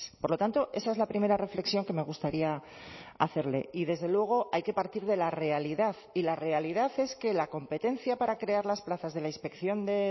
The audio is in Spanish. por lo tanto esa es la primera reflexión que me gustaría hacerle y desde luego hay que partir de la realidad y la realidad es que la competencia para crear las plazas de la inspección de